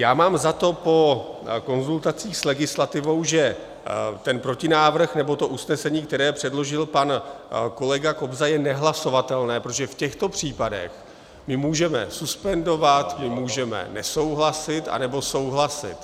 Já mám za to po konzultacích s legislativou, že ten protinávrh, nebo to usnesení, které předložil pan kolega Kobza, je nehlasovatelné, protože v těchto případech my můžeme suspendovat, my můžeme nesouhlasit, anebo souhlasit.